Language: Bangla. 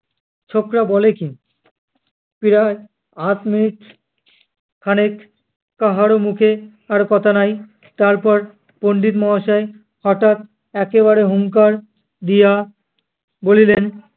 ছোকরা বলে কী! প্রায় আধ মিনিট খানেক কাহারো মুখে আর কথা নাই। তারপর পণ্ডিত মহাশয় হঠাৎ একেবারে হুংকার দিয়া বলিলেন,